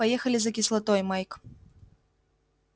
поехали за кислотой майк